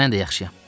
Mən də yaxşıyam.